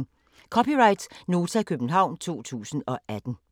(c) Nota, København 2018